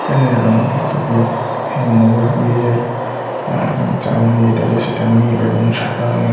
Train -এর রংটি সবুজ এবং ওভারব্রিজ -এর এ চাওনি যেটা আছে। সেটা নীল এবং সাদা রঙের ।